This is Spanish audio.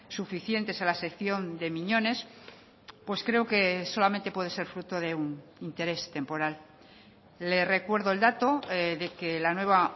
suficientes a la sección de miñones pues creo que solamente puede ser fruto de un interés temporal le recuerdo el dato de que la nueva